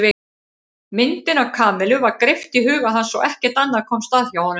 Myndin af Kamillu var greipt í huga hans og ekkert annað komst að hjá honum.